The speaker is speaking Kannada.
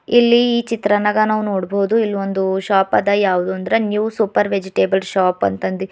ಇಲ್ಲಿ ಈ ಚಿತ್ರನಾಗ ನಾವ್ ನೋಡ್ಬೋದು ಇಲ್ ಒಂದು ಶಾಪ್ ಅದ ಯಾವುದು ಅಂದ್ರ ನ್ಯೂ ಸೂಪರ್ ವೆಜಿಟೇಬಲ್ ಶಾಪ್ ಅಂತ್ ಅಂದಿ--